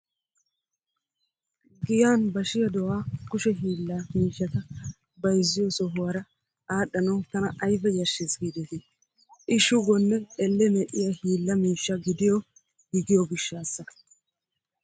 Giyan bashiyaaduwaa kushee hilla miishshata bayizziyoo sohuwaara aadhdhanawu tana ayiba yashshes giideti! I shugonne elle me'iyaa hiila miisha gidiyoo gigiyoo gishshaassa.